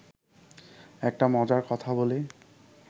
একটা মজার কথা বলি